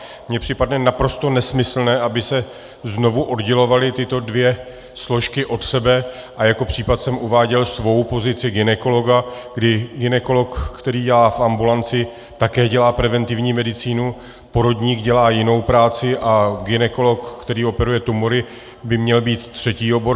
Mně připadne naprosto nesmyslné, aby se znovu oddělovaly tyto dvě složky od sebe, a jako příklad jsem uváděl svou pozici gynekologa, kdy gynekolog, který dělá v ambulanci, také dělá preventivní medicínu, porodník dělá jinou práci, a gynekolog, který operuje tumory, by měl být třetí obor.